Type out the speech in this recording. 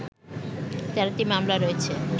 ১৩টি মামলা রয়েছে